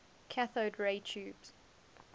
cathode ray tubes